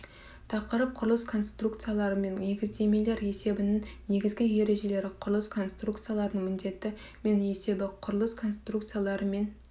тақырып құрылыс конструкциялары мен негіздемелер есебінің негізгі ережелері құрылыс конструкцияларының міндеті мен есебі құрылыс конструкциялары мен